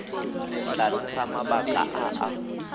tlase ga mabaka a a